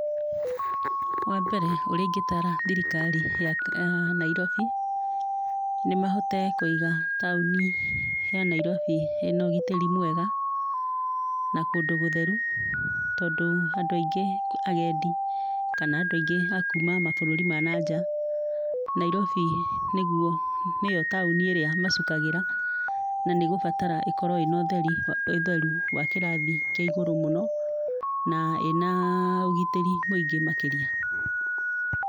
Wa mbere ũrĩa ingĩtara thirikari ya Nairobi nĩ mahote kũiga taũni ya Nairobi ĩna ũgitĩri mwega na kũndũ gũtheru tondũ andũ aingĩ agendi kana andũ aingĩ akuma mabũrũri ma nanja Nairobi nĩyo taũni ĩrĩa macukagĩra na nĩ gũbatara ĩkorwo na ũtheru wa kĩrathi kĩa igũrũ mũno na ĩna ũgitĩri mũingĩ makĩria.